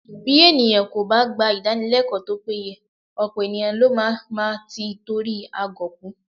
Bí ènìyàn kò bá gba Ìdánilẹ́kọ̀ọ́ tó péye, ọ̀pọ̀ ènìyàn ló má máa tí itori agọ̀ kú